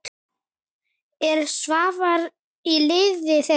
Er Svavar í liði þeirra?